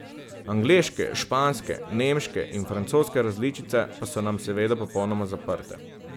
Angleške, španske, nemške in francoske različice pa so nam seveda popolnoma zaprte.